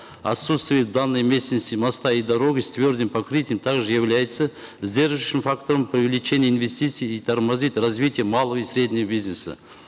отсутствие в данной местности моста и дороги с твердым покрытием также является сдерживающим фактором привлечения инвестиций и тормозит развитие малого и среднего бизнеса